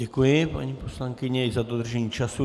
Děkuji, paní poslankyně, i za dodržení času.